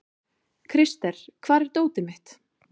Krister, hvar er dótið mitt?